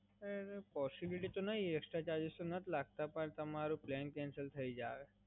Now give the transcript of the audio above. નહીં, પોસીબીલીટી તો નહીં, એકસ્ટ્રા ચાર્જિસ તો નહીં લાગતાં પણ તમારો પ્લાન કેન્સલ થય જસે.